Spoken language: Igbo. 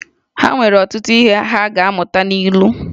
Ha nwere ọtụtụ ihe ha ga-amụta n’ilu